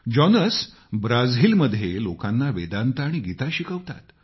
Jonas ब्राजीलमध्ये लोकांना वेदांत आणि गीता शिकवतात